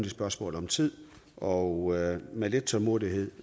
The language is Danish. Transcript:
spørgsmål om tid og med lidt tålmodighed